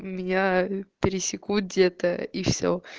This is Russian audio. меня пересекут где-то и все